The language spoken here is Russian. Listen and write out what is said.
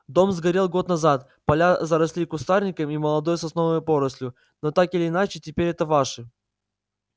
дом сгорел год назад поля заросли кустарником и молодой сосновой порослью но так или иначе теперь это ваше